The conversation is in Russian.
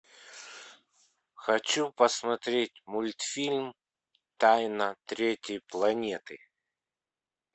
хочу посмотреть мультфильм тайна третьей планеты